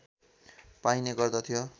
पाइने गर्दथ्यो